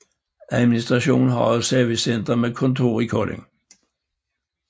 Administrationen har et servicecenter med kontor i Kolding